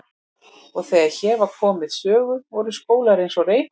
Og þegar hér var komið sögu voru skólar eins og Reykholt og